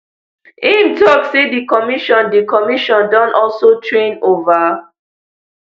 im tok say di commission di commission don also train over